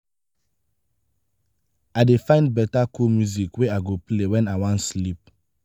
i dey find beta cool music wey i go play wen i wan sleep.